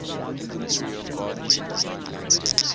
inventory of gardens and designed landscapes